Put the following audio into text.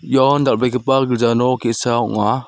ian dal·begipa gilja nok ge·sa ong·a.